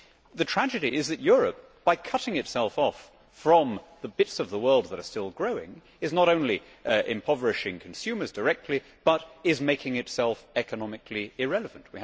The tragedy is that Europe, by cutting itself off from the bits of the world that are still growing, is not only impoverishing consumers directly but is making itself economically irrelevant.